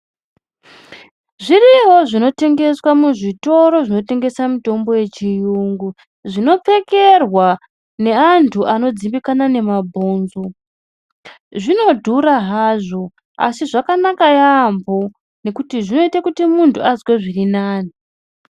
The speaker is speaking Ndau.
Zviriyovo zviro zvinotengeswa muzvitoro zvinotengesa mitombo yechiyungu zvinopfekerwa neantu anodzimbikana nemabhonzo. Zvinodhura hazvo asi zvakanaka yaamho nekuti zvinoita kuti muntu azwe zvirinani.